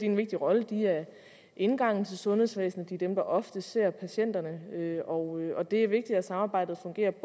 en vigtig rolle de er indgangen til sundhedsvæsenet de er dem der oftest ser patienterne og det er vigtigt at samarbejdet fungerer det